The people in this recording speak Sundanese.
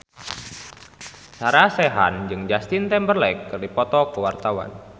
Sarah Sechan jeung Justin Timberlake keur dipoto ku wartawan